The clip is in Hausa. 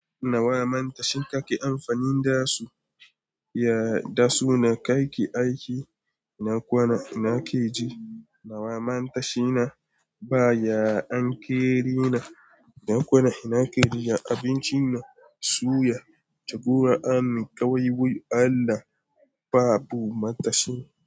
Na wa mantashi kake amfanin dasu? Yada su na kai ki aiki, na kwana ina keji, na wa mantashi na baya ankeri na, na kwana ina keriya abinci na, suya, jagora ani kawai wuya Allah babu matashi.